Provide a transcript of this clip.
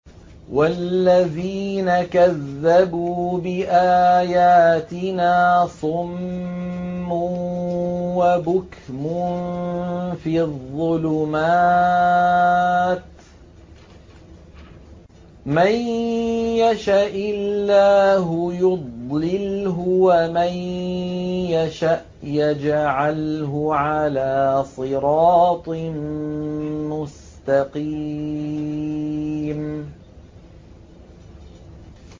وَالَّذِينَ كَذَّبُوا بِآيَاتِنَا صُمٌّ وَبُكْمٌ فِي الظُّلُمَاتِ ۗ مَن يَشَإِ اللَّهُ يُضْلِلْهُ وَمَن يَشَأْ يَجْعَلْهُ عَلَىٰ صِرَاطٍ مُّسْتَقِيمٍ